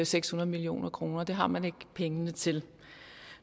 seks hundrede million kroner det har man ikke pengene til